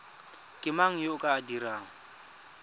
mang yo o ka dirang